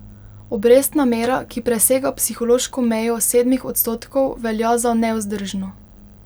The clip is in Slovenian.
Obrestna mera, ki presega psihološko mejo sedmih odstotkov, velja za nevzdržno.